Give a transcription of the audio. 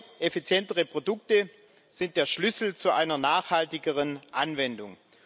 Neue effizientere Produkte, sind der Schlüssel zu einer nachhaltigeren Anwendung.